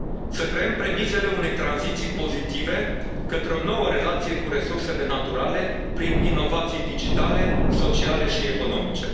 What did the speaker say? Să creăm premisele unei tranziții pozitive către o nouă relație cu resursele naturale prin inovații digitale, sociale și economice.